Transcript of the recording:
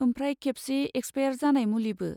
आमफ्राय खेबसे एक्सपायार जानाय मुलिबो।